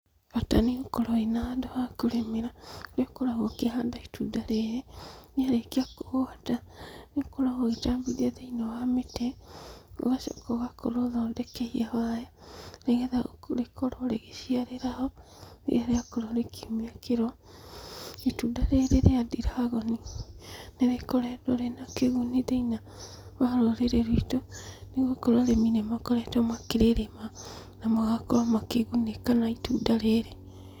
Bata nĩũkorwo wĩna handũ hakũrĩmĩra, harĩa ũkoragwo ũkĩhandĩra itunda rĩrĩ, rĩarĩkia kũgwata, nĩũkoragwo ũgĩtambithia thĩiniĩ wa mĩtĩ, ũgacoka ũgakorwo ũthondekeire waya, nĩgetha rĩkorwo rĩgĩciarĩra ho, rĩrĩa rĩakorwo rĩkiumia kĩro. Itunda rĩrĩ rĩa ndiragoni, nĩrĩkoretwo rĩna kĩguni thĩinĩ wa rũrĩrĩ ruitũ, nĩgũkorwo arĩmi nĩmakoretwo makĩrĩrĩma na magakorwo makĩgunĩka na itunda rĩrĩ.